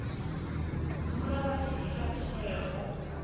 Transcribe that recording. dzula vha tshi ita tsheo